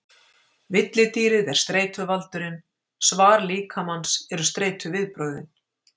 Villidýrið er streituvaldurinn, svar líkamans eru streituviðbrögðin.